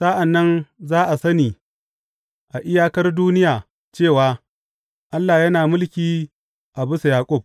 Sa’an nan za a sani a iyakar duniya cewa Allah yana mulki a bisa Yaƙub.